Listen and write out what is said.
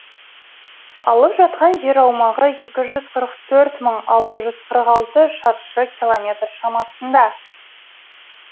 алып жатқан жер аумағы екі жүз қырық төрт мың алты жүз қырық алты шаршы километр шамасында